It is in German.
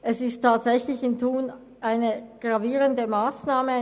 Für Thun ist dies tatsächlich eine gravierende Massnahme.